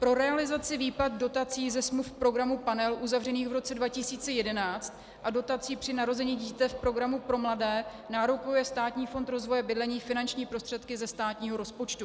Pro realizaci výplat dotací ze smluv programu Panel uzavřených v roce 2011 a dotací při narození dítěte v programu pro mladé nárokuje Státní fond rozvoje bydlení finanční prostředky ze státního rozpočtu.